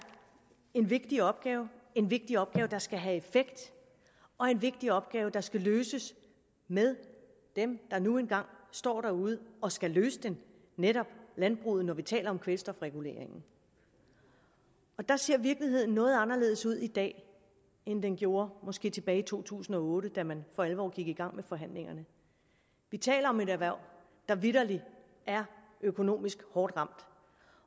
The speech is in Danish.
en vigtig opgave en vigtig opgave der skal have effekt og en vigtig opgave der skal løses med dem der nu engang står derude og skal løse den netop landbruget når vi taler om kvælstofreguleringen der ser virkeligheden noget anderledes ud i dag end den gjorde måske tilbage i to tusind og otte da man for alvor gik i gang med forhandlingerne vi taler om et erhverv der vitterlig er økonomisk hårdt ramt